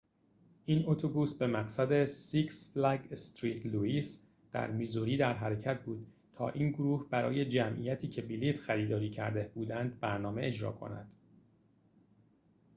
این اتوبوس به مقصد six flags st louis در میزوری در حرکت بود تا این گروه برای جمعیتی که بلیط خریداری کرده بودند برنامه اجرا کند